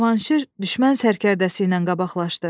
Cavanşir düşmən sərkərdəsi ilə qabaqlaşdı.